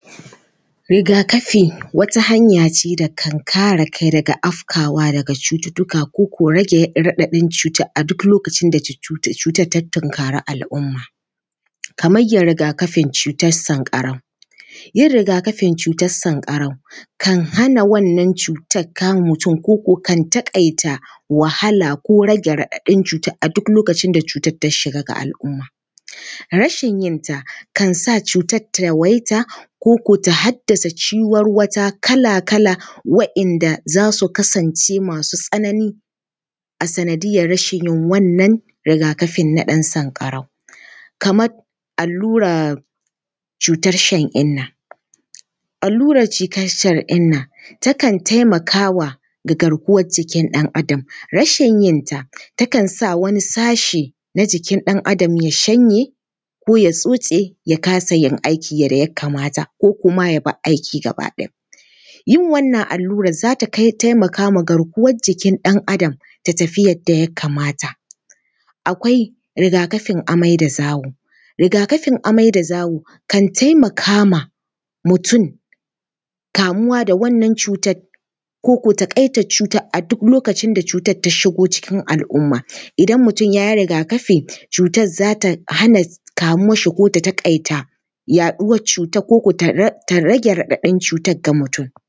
Riga-kafi wata hanya ce da kan kare kai daga afkawa daga cututtuka ko ko rage raɗaɗin cuta a duk lokacin da cutar ta tunkari al’umma, kamar ya riga-kafin cutar sanƙarau. Yin riga-kafin cutar sanƙarau kan hana wannan cutar kama mutum ko ko kan taƙaita wahala ko rage raɗaɗin cutar a duk lokacin da cutar ta shiga ga al’umma. Rashin yenta kan sa cutar ta yawaita ko ko ta haddasa ciwarwata kala-kala waɗanda za su kasance masu tsanani a sanadiyyar rashin yin wannan riga-kafin na ɗan sanƙarau. Kamar allurar cutar shan-inna, allurar cutar shan-inna takan taimaka wa garkuwar jikin ɗan Adam, rashin yin ta takan sa wani sashi na jikin ɗan Adam ya shanye ko ya tsotse ya kasa yin aiki yadda ya kamata ko kuma ya bar aiki gaba ɗaya. Yin wannan allurar za ta taimaka ma garkuwar jikin ɗan Adam, ta tafi yadda ya kamata. Akwai riga-kafin amai-da-zawo. Riga-kafin amai-da-zawo, kan taimaka ma mutum kamuwa da wannan cutar ko ko taƙaitar cutar a duk lokacin da cutar ta shigo cikin al’umma, idan mutum ya yi riga-kafi, cutar za ta hana kamuwar shi ko ko ta taƙaita yaɗuwar cutar ko ko ta rage raɗaɗin cutar ga mutum.